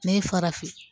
Ne ye farafin